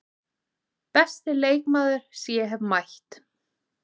Besti leikmaður sem ég hef mætt?